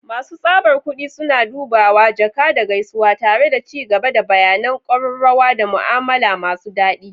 Masu tsabar kudi suna dubawa, jaka, da gaisuwa, tare da ci gaba da bayanan ƙararrawa da mu'amala masu daɗi.